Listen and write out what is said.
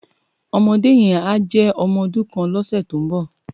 Òmòdé yèn á jè òmò òdún kán lòsè tó n bò